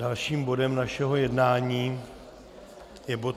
Dalším bodem našeho jednání je bod